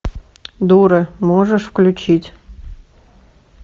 дура можешь включить